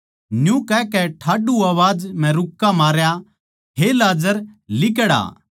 न्यू कहकै ठाड्डू आवाज म्ह रूक्का मारया हे लाजर लिकड़ आ